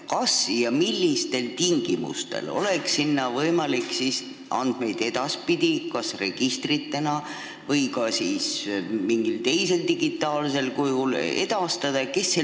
Kas ja millistel tingimustel oleks sinna võimalik andmeid edaspidi kas registritena või mingil teisel digitaalsel kujul edastada?